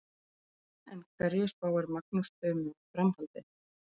En hverju spáir Magnús Tumi um framhaldið?